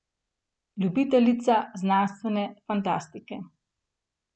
Ljubiteljica znanstvene fantastike.